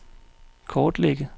kortlægge